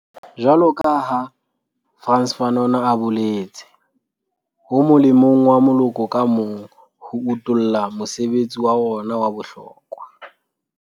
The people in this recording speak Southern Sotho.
Jwaloka ha Frantz Fanon a boletse, ho molemong wa moloko ka mong ho utolla mosebetsi wa ona wa bohlokwa.